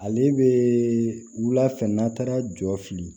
Ale bɛ wula fɛ n'a taara jɔ fili